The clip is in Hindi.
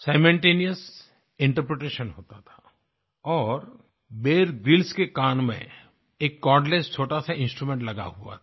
सिमल्टेनियस इंटरप्रिटेशन होता था और बियर ग्रिल्स के कान में एक कॉर्डलेस छोटा सा इंस्ट्रूमेंट लगा हुआ था